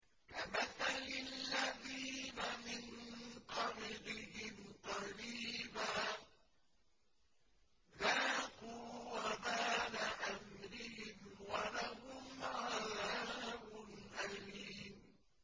كَمَثَلِ الَّذِينَ مِن قَبْلِهِمْ قَرِيبًا ۖ ذَاقُوا وَبَالَ أَمْرِهِمْ وَلَهُمْ عَذَابٌ أَلِيمٌ